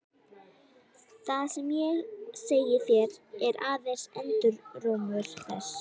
Það sem ég segi þér er aðeins endurómur þess.